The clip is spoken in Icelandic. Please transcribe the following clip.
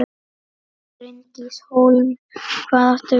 Bryndís Hólm: Hvað áttu við?